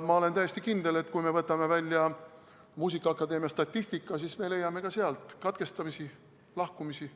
Ma olen täiesti kindel, et kui me võtame välja muusikaakadeemia statistika, siis me leiame ka sealt katkestamisi, lahkumisi,